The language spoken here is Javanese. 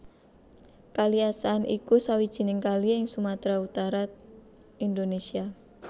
Kali Asahan iku sawijining kali ing Sumatra Utara Indonesia